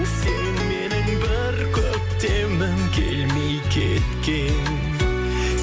сен менің бір көктемім келмей кеткен